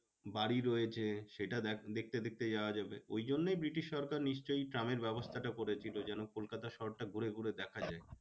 বাড়ি রয়েছে সেটা দেখতে দেখতে যাওয়া যাবে। ওই জন্য ব্রিটিশ সরকার নিশ্চই ট্রামের ব্যবস্থাটা করেছিল যেন কলকাতা শহরটা ঘুরে ঘুরে দেখা যায়।